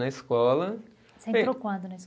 Na escola. Você entrou quando na escola?